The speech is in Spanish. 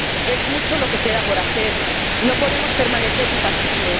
Es mucho lo que queda por hacer no podemos permanecer impasibles.